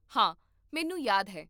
ਹਾਂ, ਮੈਨੂੰ ਯਾਦ ਹੈ